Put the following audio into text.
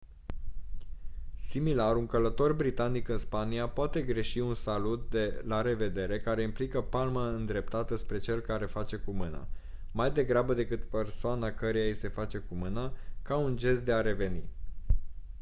similar un călător britanic în spania poate greși un salut de la revedere care implică palma îndreptată spre cel care face cu mâna mai degrabă decât persoana căreia i se face cu mâna ca un gest de a reveni